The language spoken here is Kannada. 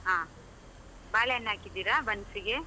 ಆ ಬಾಳೆಹಣ್ಣ್ ಹಾಕಿದೀರಾ ಬನ್ಸಿಗೆ?